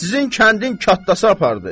Sizin kəndin kətdası apardı.